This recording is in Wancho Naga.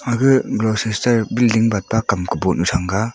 aga bror star billing batba kam kaboh nu thranga.